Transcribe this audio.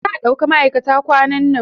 Za a ɗauka maʼaikata kwanan nan.